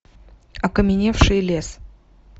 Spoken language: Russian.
окаменевший лес